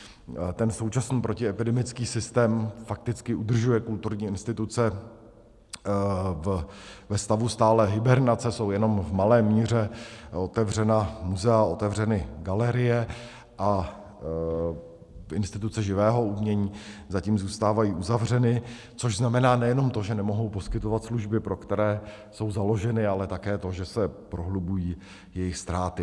Ten současný protiepidemický systém fakticky udržuje kulturní instituce ve stavu stálé hibernace, jsou jenom v malé míře otevřena muzea, otevřeny galerie, a instituce živého umění zatím zůstávají uzavřeny, což znamená nejenom to, že nemohou poskytovat služby, pro které jsou založeny, ale také to, že se prohlubují jejich ztráty.